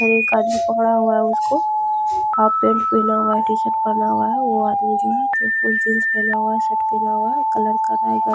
एक आदमी पकड़ा हुआ उसको हाफ पैंट पहना हुआ है टीशर्ट पहना हुआ है वो आदमी जो है फूल जींस पहना हुआ है शर्ट पहना हुआ है कलर कर रहा है ।